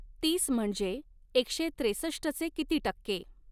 तीस म्हणजे एकशे त्रेसष्टचे किती टक्के